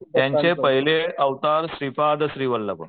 त्यांचे पहिले अवतार श्रीपाद श्री वल्लभ.